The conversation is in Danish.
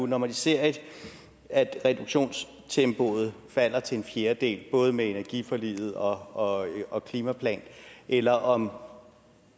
når man ser at reduktionstempoet falder til en fjerdedel både med energiforliget og og klimaplanen eller om